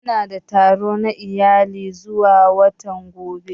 Muna da taro na iyali zuwa watan gaba.